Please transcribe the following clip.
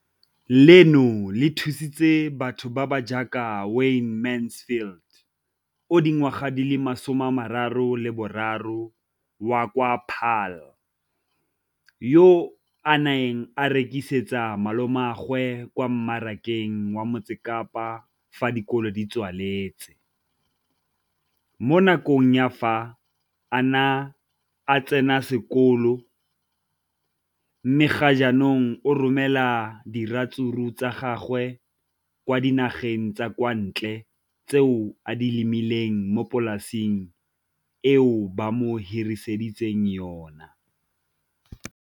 Leno le thusitse batho ba ba jaaka Wayne Mansfield, 33, wa kwa Paarl, yo a neng a rekisetsa malomagwe kwa Marakeng wa Motsekapa fa dikolo di tswaletse, mo nakong ya fa a ne a santse a tsena sekolo, mme ga jaanong o romela diratsuru tsa gagwe kwa dinageng tsa kwa ntle tseo a di lemileng mo polaseng eo ba mo hiriseditseng yona.